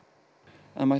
það mætti